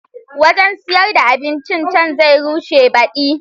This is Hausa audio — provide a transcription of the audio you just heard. Wajen sayar da abincin can zai rushe baɗi